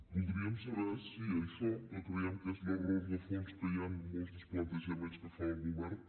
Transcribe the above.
voldríem saber si això que creiem que és l’error de fons que hi ha en molts dels plantejaments que el govern